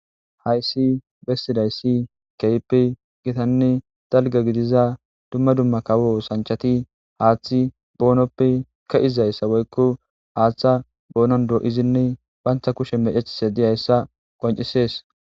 hayssi bessiday ssi keype gitanne dalga gidiza dumma dumma kawo sanchati haaththi boonoppe ka izayssa woykko haaththa boonon doo7izinne banta kushe mecethise diyayssa qoncisees